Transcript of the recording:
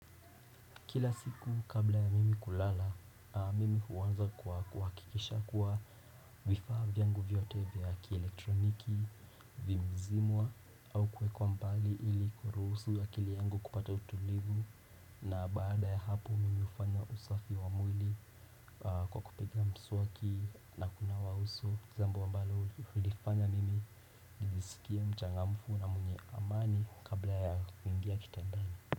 Kila siku kabla ya mimi kulala, mimi huwanza kwa kuakikisha kuwa vifaa vyangu vyote vya kielektroniki, vimezimwa au kuekwa mbali ili kuruhusu akili yangu kupata utulivu na baada ya hapo mimi hufanya usafi wa mwili kwa kupiga msuwaki na kunawa uso jambo ambalo hunifanya mimi nijisikie mchangamfu na mwenye amani kabla ya kuingia kitandani.